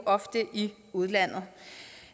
ofte i udlandet